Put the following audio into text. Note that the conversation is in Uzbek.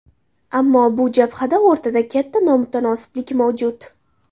Ammo bu jabhada o‘rtada katta nomutanosiblik mavjud.